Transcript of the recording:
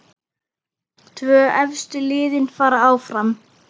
Tvö efstu liðin fara áfram.